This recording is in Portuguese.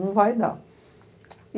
Não vai dar.